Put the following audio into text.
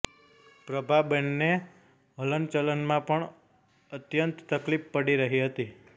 પ્રભાબેનને હલનચલનમાં પણ અત્યંત તકલીફ પડી રહી હતી